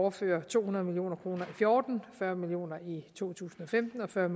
overfører to hundrede million kroner og fjorten fyrre million kroner i to tusind og femten og fyrre